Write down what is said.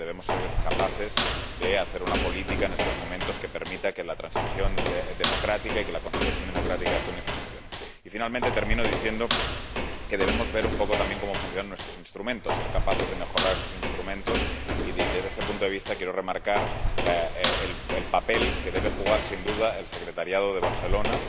Yo creo que debemos ser capaces de hacer una política en estos momentos que permita que la transición democrática y que la consolidación democrática de Túnez funcione. Y, finalmente, termino diciendo que debemos ver un poco también cómo funcionan nuestros instrumentos, ser capaces de mejorar esos instrumentos, y, desde este punto de vista, quiero remarcar el papel que debe jugar, sin duda, la Secretaría de la UPM —en Barcelona—